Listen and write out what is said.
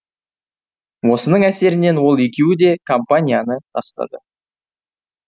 осының әсерінен ол екеуі де компанияны тастады